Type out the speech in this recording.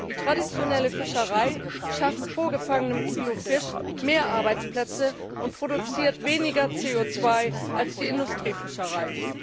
Die traditionelle Fischerei schafft pro gefangenem Kilo Fisch mehr Arbeitsplätze und produziert weniger CO 2 als die Industriefischerei.